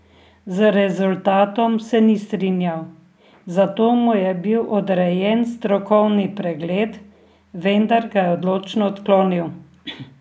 Z rezultatom se ni strinjal, zato mu je bil odrejen strokovni pregled, vendar ga je odločno odklonil.